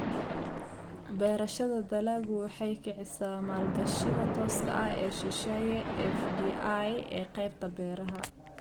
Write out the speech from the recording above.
Beerashada dalaggu waxay kicisaa maalgashiga tooska ah ee shisheeye (FDI) ee qaybta beeraha.